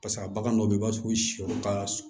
Paseke a bagan dɔw bɛ yen i b'a sɔrɔ ka surun